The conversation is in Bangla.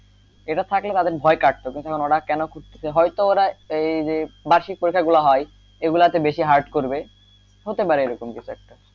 এটা থাকলে তাদের ভয় কাটতো প্রথমে ওরা খুঁত খুঁতে হয়তো ওরা এই যে বার্ষিক পরীক্ষা গুলা হয় এই গুলাতে বেশি hard করবে হতে পারে এরকম কিছু একটা,